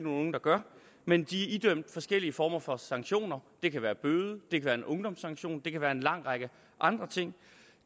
unge der gør men de er idømt forskellige former for sanktioner det kan være bøde det kan være en ungdomssanktion det kan være en lang række andre ting